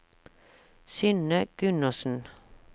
Synne Gundersen